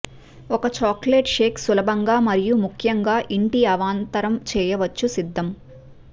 ఒక chocolate shake సులభంగా మరియు ముఖ్యంగా ఇంటి అవాంతరం చేయవచ్చు సిద్ధం